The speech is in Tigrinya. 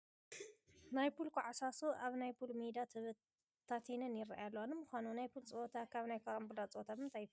ናይ ፑል ኮዓሳሱ ኣብቲ ናይ ፑል ሜዳ ተበታቲነን ይርአያ ኣለዋ፡፡ ንምዃኑ ናይ ፑል ፀወታ ካብ ናይ ካራምቡላ ፀወታ ብምንታይ ይፍለ?